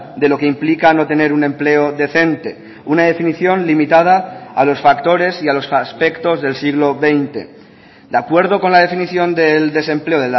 de lo que implica no tener un empleo decente una definición limitada a los factores y a los aspectos del siglo veinte de acuerdo con la definición del desempleo